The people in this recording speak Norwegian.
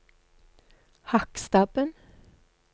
Hakkstabben